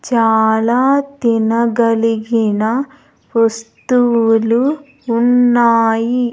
చాలా తినగలిగిన వస్తువులు ఉన్నాయి.